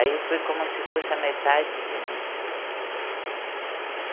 Aí foi como se fosse a metade de mim.